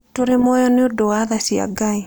Tũrĩ muoyo nĩ ũndũ wa tha cia Ngai.